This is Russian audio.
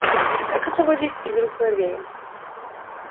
как освободить из рук злодея